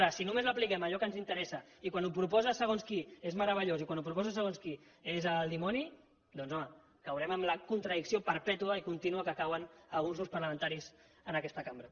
ara si només l’apliquem a allò que ens interessa i quan ho proposa segons qui és meravellós i quan ho proposa segons qui és el dimoni doncs home caurem en la contradicció perpètua i contínua en què cauen alguns grups parlamentaris en aquesta cambra